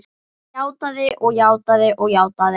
Játað og játað og játað.